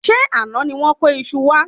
Ṣé àná ni wón kó iṣu wa?